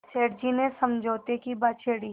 सेठ जी ने समझौते की बात छेड़ी